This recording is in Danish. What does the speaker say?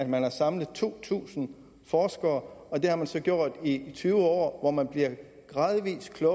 man samlet to tusind forskere og det har man så gjort i tyve år hvor man gradvis er